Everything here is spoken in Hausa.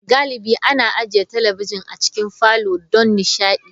Galibi ana ajiye talabijin a cikin falon don nishaɗi.